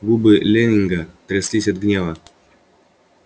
губы лэннинга тряслись от гнева